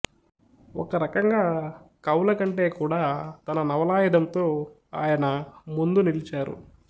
ఒక రకంగా కవుల కంటే కూడా తన నవలాయుధంతో ఆయన ముందు నిలిచారు